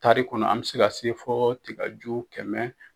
Taari kɔnɔ an be se ka se fɔ tigu kɛmɛ